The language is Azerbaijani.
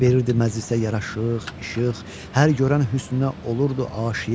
Verirdi məclisə yaraşıq, işıq, hər görən hüsnünə olurdu aşiq.